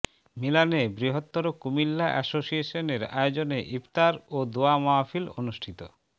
মিলানে বৃহত্তর কুমিল্লা এসোসিয়েশনের আয়োজনে ইফতার ও দোয়া মাহফিল অনুষ্ঠিত